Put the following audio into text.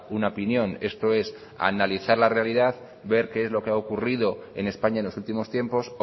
una opinión esto es analizar la realidad ver qué es lo que ha ocurrido en españa en los últimos tiempos